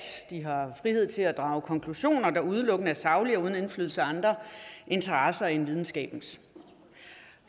de har frihed til at drage konklusioner der udelukkende er saglige og uden indflydelse af andre interesser end videnskabens